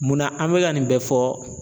Munna an bɛka nin bɛɛ fɔ